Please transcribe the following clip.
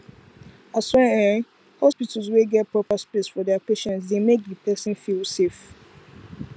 aswear[um]hospitals wey get prayer space for their patients dey make the person feel safe